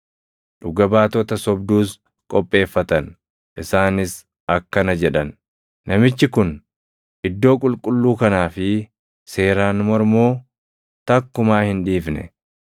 Dhuga baatota sobduus qopheeffatan; isaanis akkana jedhan; “Namichi kun iddoo qulqulluu kanaa fi seeraan mormuu takkumaa hin dhiifne.